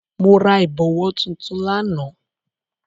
Mo ra ìbọ̀wọ̀ tuntun lánàá.